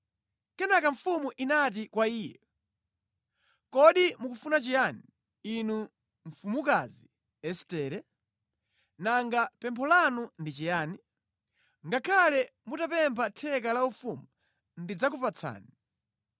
Kenaka mfumu inati kwa iye, “Kodi mukufuna chiyani, inu mfumukazi Estere? Nanga pempho lanu ndi chiyani? Ngakhale mutapempha theka la ufumu, ndidzakupatsani.”